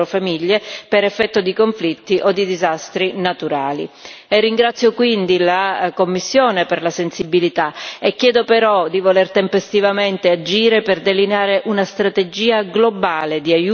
Ringrazio la Commissione per la sensibilità dimostrata e chiedo però di agire tempestivamente per delineare una strategia globale di aiuti, che comprenda l'istruzione per i bambini in situazioni di emergenza.